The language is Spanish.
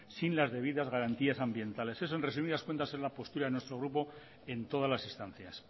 sin las debidas garantías ambientales eso en resumidas cuentas es la postura de nuestro grupo en todas las instancias